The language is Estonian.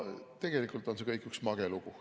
Tegelikult on see kõik üks mage lugu.